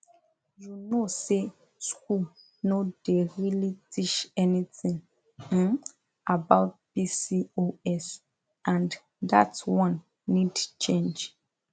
you know say school no dey really teach anything um about pcos and that one need change